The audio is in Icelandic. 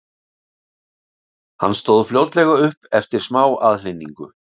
Hann stóð fljótlega upp eftir smá aðhlynningu.